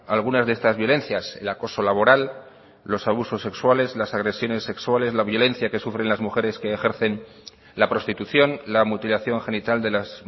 algunas de estas violencias el acoso laboral los abusos sexuales las agresiones sexuales la violencia que sufren las mujeres que ejercen la prostitución la mutilación genital de las